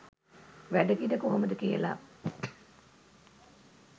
වැඩ කිඩ කොහොමද කියලා.